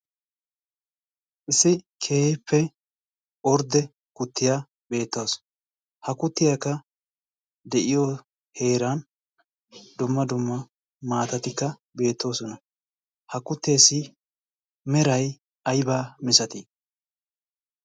issi keeppe ordde kuttiyaa beettaasu ha kuttiyaakka de'iyo heeran dumma dumma maatatikka beettoosona ha kutteessi meray aybaa misatii